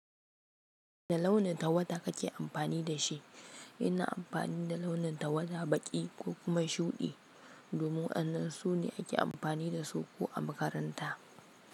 Wani launin tawada kake amfani da shi? Ina amfani da launin tawada, baƙi ko kuma shuɗi domin wa'annan su ne ake amfani da su ko a makaranta.